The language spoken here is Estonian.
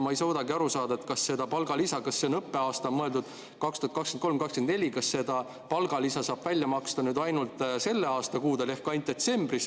Ma ei suuda aga aru saada, kas on mõeldud õppeaastat 2023/24 või seda palgalisa saab välja maksta nüüd ainult selle aasta kuudel ehk ainult detsembris.